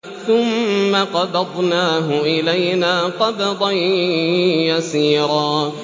ثُمَّ قَبَضْنَاهُ إِلَيْنَا قَبْضًا يَسِيرًا